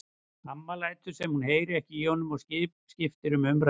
Amma lætur sem hún heyri ekki í honum og skiptir um umræðuefni.